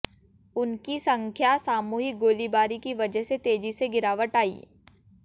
उनकी संख्या सामूहिक गोलीबारी की वजह से तेजी से गिरावट आई